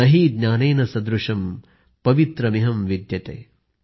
न हि ज्ञानेन सदृष्यं पवित्र मिह विद्यते